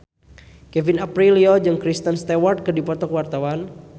Kevin Aprilio jeung Kristen Stewart keur dipoto ku wartawan